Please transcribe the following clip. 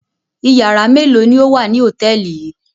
Ìyàrá mélòó ni ó wà ní hòtẹ́ẹ́lì yìí?